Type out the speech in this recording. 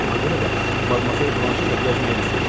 Ona görə də Madmazel Blanşe ilə gəzməyə risk eləyir.